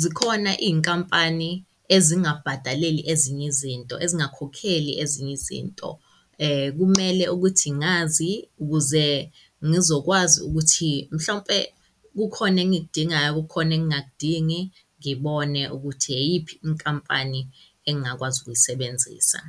zikhona iy'nkampani ezingabhadaleli ezinye izinto, ezingakhokheli ezinye izinto. Kumele ukuthi ngazi ukuze ngizokwazi ukuthi mhlawumpe kukhona engikudingayo, kukhona engakudingi ngibone ukuthi iyiphi inkampani engakwazi ukuyisebenzisa.